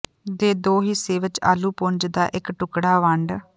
ਦੇ ਦੋ ਹਿੱਸੇ ਵਿੱਚ ਆਲੂ ਪੁੰਜ ਦਾ ਇੱਕ ਟੁਕੜਾ ਵੰਡ